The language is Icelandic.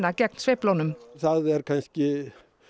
gegn sveiflunum það er kannski